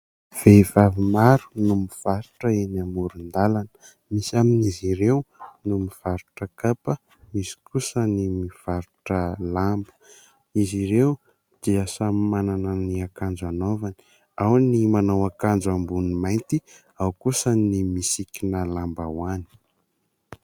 Vehivavy maro no mivarotra eny amoron-dalana. Misy amin'izy ireo no mivarotra kapa, misy kosa ny mivarotra lamba. Izy ireo dia samy manana ny akanjo anaovany : ao ny manao akanjo ambony mainty ao kosa ny misikina lambahoany.